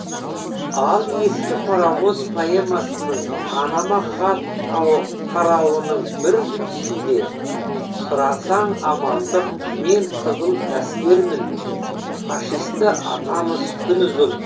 ал ескі паровоз поэмасының анама хат тарауының бір үзіндісінде сұрасаң амандық мен қызыл әскермін фашисті атамыз күн ұзын